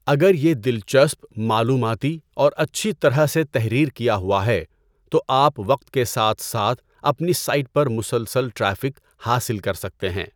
اگر یہ دلچسپ، معلوماتی، اور اچھی طرح سے تحریر کیا ہوا ہے، تو آپ وقت کے ساتھ ساتھ اپنی سائٹ پر مسلسل ٹریفک حاصل کر سکتے ہیں۔